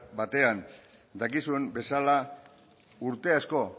batean dakizuen bezala urte asko